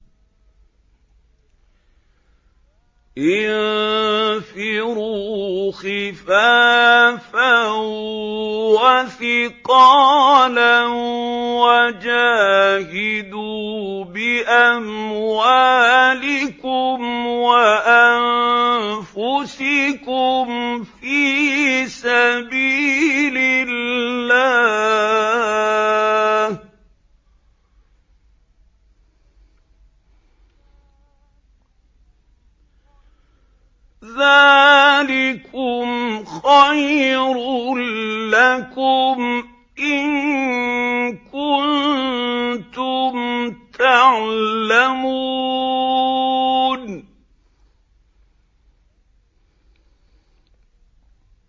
انفِرُوا خِفَافًا وَثِقَالًا وَجَاهِدُوا بِأَمْوَالِكُمْ وَأَنفُسِكُمْ فِي سَبِيلِ اللَّهِ ۚ ذَٰلِكُمْ خَيْرٌ لَّكُمْ إِن كُنتُمْ تَعْلَمُونَ